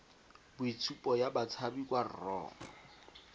boitshupo ya batshabi kwa rro